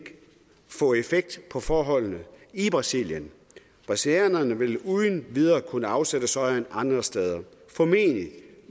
få effekt på forholdene i brasilien brasilianerne ville uden videre kunne afsætte sojaen andre steder formentlig